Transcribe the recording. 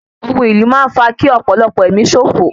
Community war leads to loss of lives